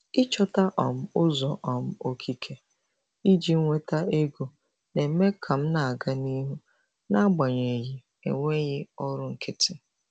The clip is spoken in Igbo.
Ịchọta um ụzọ um okike iji nweta ego na-eme ka m na-aga n'ihu n'agbanyeghị enweghị ọrụ nkịtị.